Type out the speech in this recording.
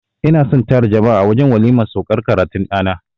I na son na tara jama'a a wajen waliman saukar karatun ɗana.